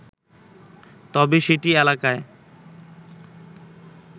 তবে সিটি এলাকায়